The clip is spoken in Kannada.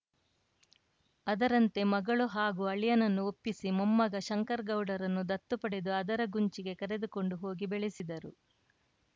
ಅದರಂತೆ ಮಗಳು ಹಾಗೂ ಅಳಿಯನನ್ನು ಒಪ್ಪಿಸಿ ಮೊಮ್ಮಗ ಶಂಕರ್ ಗೌಡರನ್ನು ದತ್ತುಪಡೆದು ಅದರಗುಂಚಿಗೆ ಕರೆದುಕೊಂಡು ಹೋಗಿ ಬೆಳೆಸಿದರು